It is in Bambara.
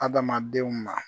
Adamadenw ma